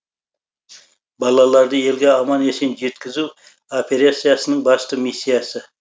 балаларды елге аман есен жеткізу операциясының басты миссиясы